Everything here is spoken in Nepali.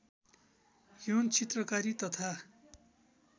यौन चित्रकारी तथा